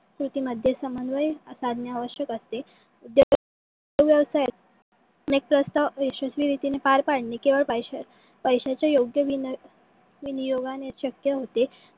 कृती मध्ये समन्वय साधने आवश्यक असते. तो व्यवसाय यशश्वी रीतीने पार पडणे पैसीयच्या योग्य विनियोगाने शक्य होते.